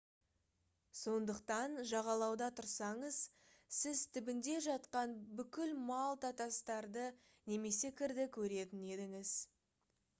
сондықтан жағалауда тұрсаңыз сіз түбінде жатқан бүкіл малта тастарды немесе кірді көретін едіңіз